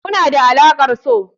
Muna da alaƙar so.